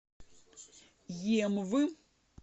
емвы